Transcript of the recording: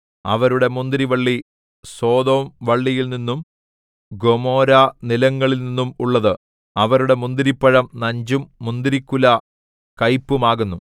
അവരുടെ മുന്തിരിവള്ളി സൊദോംവള്ളിയിൽനിന്നും ഗൊമോരനിലങ്ങളിൽനിന്നും ഉള്ളത് അവരുടെ മുന്തിരിപ്പഴം നഞ്ചും മുന്തിരിക്കുല കയ്പുമാകുന്നു